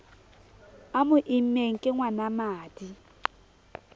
a mo immeng ke ngwanamadi